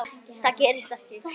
Það gerðist ekki.